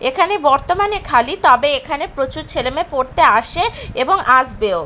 এখানে বর্তমানে খালি তবে এখানে প্রচুর ছেলেমেয়ে পড়তে আসে এবং আসবেও।